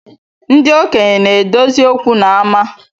Ndị okenye na-edozi okwu n’ama